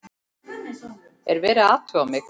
Er verið að athuga mig?